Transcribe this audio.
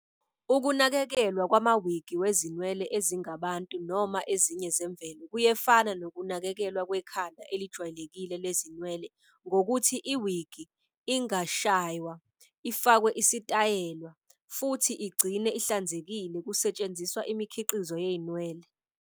Ukunakekelwa kwamawigi wezinwele ezingabantu noma ezinye zemvelo kuyefana nokunakekelwa kwekhanda elijwayelekile lezinwele ngokuthi iwigi ingashaywa, ifakwe isitayela, futhi igcinwe ihlanzekile kusetshenziswa imikhiqizo yezinwele.